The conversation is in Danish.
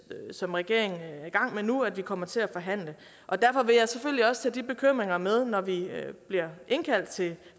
som regeringen er i gang med nu at vi kommer til at forhandle derfor vil jeg selvfølgelig også tage de bekymringer med når vi bliver indkaldt til